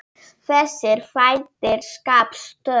Þessir þættir skapi störf.